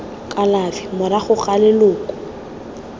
kalafi morago ga gore leloko